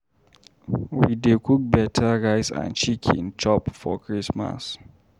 We dey cook beta rice and chicken chop for Christmas.